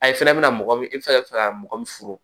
A ye fɛnɛ bɛna mɔgɔ min i bi se ka fɛ ka mɔgɔ min furu